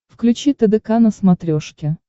включи тдк на смотрешке